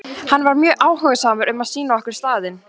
Hann var mjög áhugasamur um að sýna okkur staðinn.